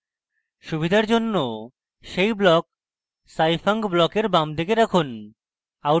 সুবিধার জন্য সেই block scifunc ব্লকের বামদিকে রাখুন